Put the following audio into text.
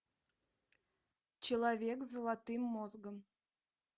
человек с золотым мозгом